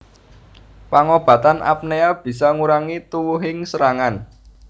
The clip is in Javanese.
Pangobatan apnea bisa ngurangi tuwuhing serangan